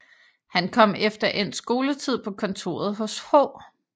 Han kom efter endt skoletid på kontoret hos H